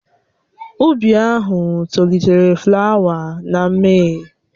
Ụbi ahụ tolitere flawa na Mee.